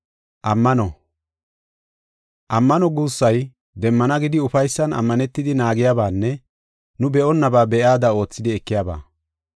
Ammano guussay, demmana gidi ufaysan ammanetidi naagiyabanne nu be7onnaba be7iyada oothidi ekiyaba.